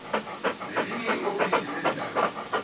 nelinye iofisi leendaba